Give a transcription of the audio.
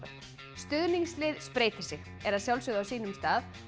stuðningslið spreytir sig er að sjálfsögðu á sínum stað